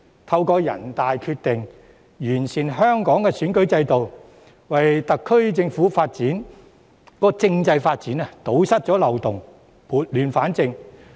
透過人大《決定》完善香港選舉制度，為特區政制發展堵塞漏洞、撥亂反正。